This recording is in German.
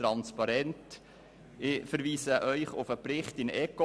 Ich verweise Sie auf den Ecoplan-Bericht.